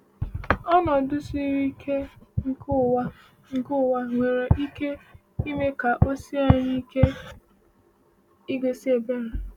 Ọnọdụ siri ike nke ụwa nke ụwa nwekwara ike ime ka o sie anyị ike igosi ebere.